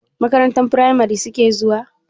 Makarantar firamari suke zuwa?